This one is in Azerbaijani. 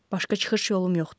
Başqa çıxış yolum yoxdur.